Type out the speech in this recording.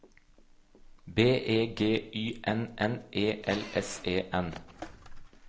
B E G Y N N E L S E N